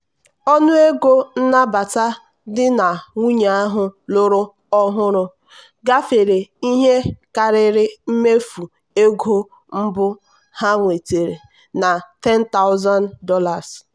ọnụ ego nnabata di na nwunye ahụ lụrụ ọhụrụ gafere ihe karịrị mmefu ego mbụ ha nwetara na $10000.